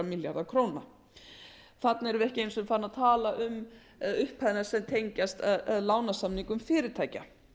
við ekki einu sinni farin að tala um upphæðina sem tengjast lánasamningum fyrirtækja